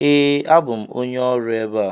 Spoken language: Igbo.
Ee, abụ m onye ọrụ ebe a.